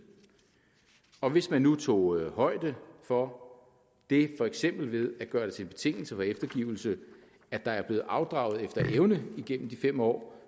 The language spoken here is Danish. og hvis man nu tog højde for det for eksempel at gøre det til en betingelse for eftergivelse at der er blevet afdraget efter evne igennem de fem år